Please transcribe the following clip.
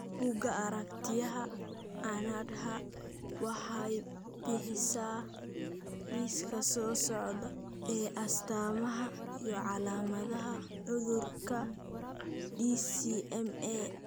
Buggga Aaragtiyaha Aanadaha waxay bixisaa liiska soo socda ee astamaha iyo calaamadaha cudurka DCMA.